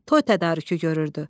Toy tədarükü görürdü.